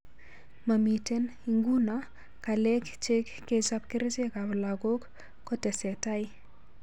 Mamiten, ingunoo, kalek cheng kechap kerchek ap lagok ko tesetai